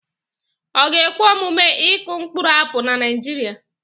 Ọ ga-ekwe omume ịkụ mkpụrụ apụl na Nigeria?